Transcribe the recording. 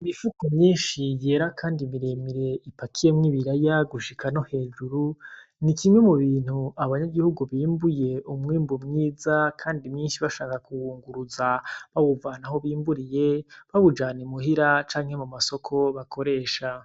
Imifuko myinshi yera kandi miremire ipakiyemwo ibiraya gushika no hejuru, ni kimwe mubintu abanyagihugu bimbuye, umwimbu mwiza kandi mwinshi bashaka kuwunguruza, bakawuvana aho bimburiye bawujana i muhira canke mu masoko bakoresha.